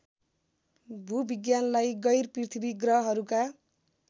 भूविज्ञानलाई गैरपृथ्वी ग्रहहरूका